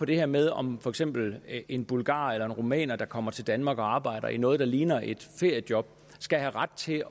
det her med om for eksempel en bulgarer eller en rumæner der kommer til danmark og arbejder inden for noget der ligner et feriejob skal have ret til